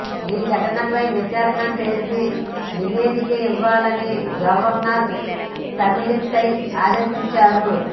ఈ ఘటనపై విచారణ చేసి నివేదిక ఇవ్వాలని గవర్నర్ తమిళిసై ఆదేశించారు